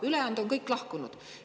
Ülejäänud on kõik lahkunud.